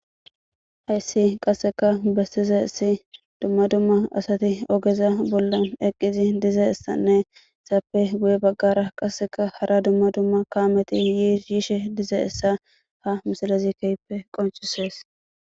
hayssi qasseka bessizaysi dumma dumma asati ogeza bollan eqqizi diza issanne zaappe guye baggara qasseka hara dumma dumma kaameti yiis yiishe diza issa ha misalezi keyppe qoncisees